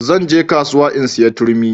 Zan je kasuwa in saya turmi